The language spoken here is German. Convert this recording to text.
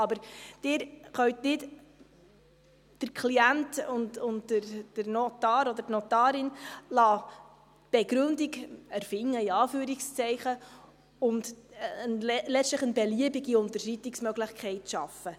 Aber Sie können nicht den Klienten und den Notar oder die Notarin die Begründung erfinden lassen, in Anführungszeichen, und letztlich eine beliebige Unterschreitungsmöglichkeit schaffen.